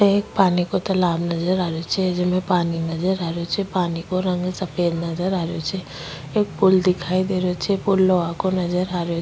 एक पानी को तालाब नजर आ रहे छे जेम पानी नजर आ रहे छे पानी को रंग सफेद नजर आ रहे छे एक पूल दिखाई दे रहे छे पूल लोहा को नजर आ रो --